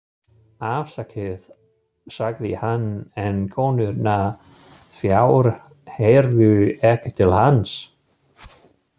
Afsakið, sagði hann, en konurnar þrjár heyrðu ekki til hans.